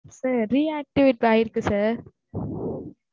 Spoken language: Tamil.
Sir rectivate ஆயிருக்கு sir